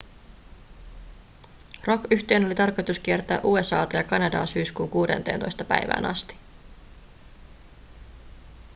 rockyhtyeen oli tarkoitus kiertää usa:ta ja kanadaa syyskuun 16 päivään asti